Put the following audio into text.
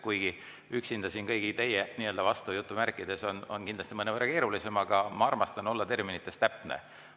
Kuigi üksinda siin kõigi teie "vastu" olla on kindlasti mõnevõrra keerulisem, aga ma armastan olla terminites täpne.